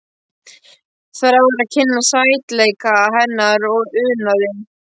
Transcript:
Þráir að kynnast sætleika hennar og unaði.